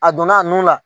A donna a nun la